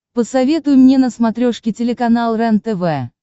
посоветуй мне на смотрешке телеканал рентв